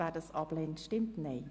Wer das ablehnt, stimmt Nein.